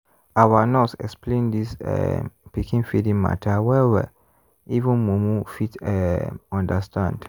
our nurse explain this um pikin feeding matter well-well even mumu fit um understand.